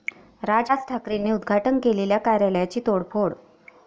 राज ठाकरेंनी उद्घाटन केलेल्या कार्यालयाची तोडफोड